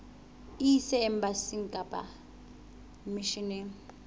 e ise embasing kapa misheneng